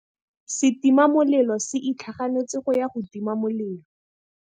Setima molelô se itlhaganêtse go ya go tima molelô.